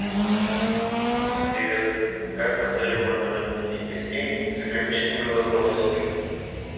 привет как в отеле можно разместить гостей с ограниченными возможностями